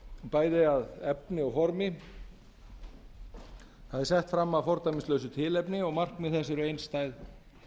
bæði að efni og formi það er sett fram af fordæmislausu tilefni og markmið þess eru einstæð